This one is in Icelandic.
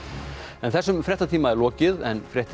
þessum fréttatíma er lokið en fréttir